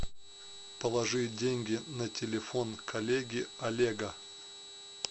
положи деньги на телефон коллеги олега